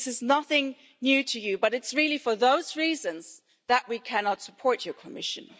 This is nothing new to you, but it's really for those reasons that we cannot support your Commission.